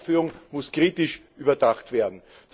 Diese Heranführung muss kritisch überdacht werden.